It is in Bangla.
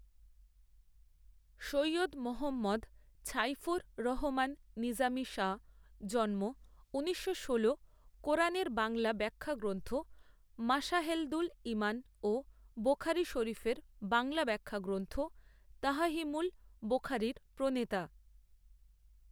সৈয়দ মোহাম্মদ ছাইফুর রহমান নিজামী শাহ জন্ম ঊনিশশো ষোলো কোরআনের বাংলা ব্যখ্যাগ্রন্থ মাশাহেদুল ঈমান ও বোখারী শরীফের বাংলা ব্যখ্যাগ্রন্থ তাফহিমুল বোখারির প্রণেতা।